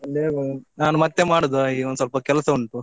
ನಾನ್ ಮತ್ತೆ ಮಾಡುದ ಈಗ ಒಂದು ಸ್ವಲ್ಪ ಕೆಲಸ ಉಂಟು.